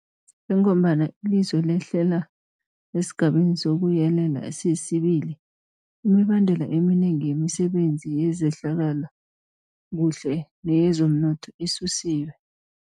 Njengombana ilizwe lehlela esiGabeni sokuYelela sesi-2, imibandela eminengi yemisebenzi yezehlalakuhle neyezomnotho isusiwe.